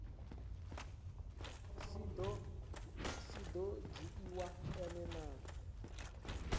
si do dzhiiwa e na